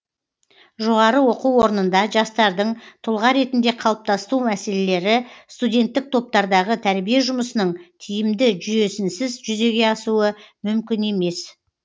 жоғары оқу орнында жастардың тұлға ретінде қалыптасу мәселелері студенттік топтардағы тәрбие жұмысының тиімді жүйесінсіз жүзеге асуы мүмкін емес